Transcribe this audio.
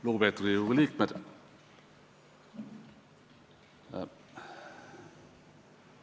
Lugupeetud Riigikogu liikmed!